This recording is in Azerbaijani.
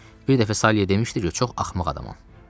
Bir dəfə Saliyə demişdi ki, çox axmaq adamam.